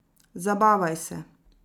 Zabavaj se.